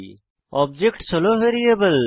objects হল variable